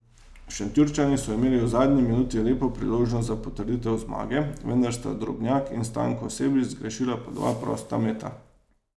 Šentjurčani so imeli v zadnji minuti lepo priložnost za potrditev zmage, vendar sta Drobnjak in Stanko Sebič zgrešila po dva prosta meta.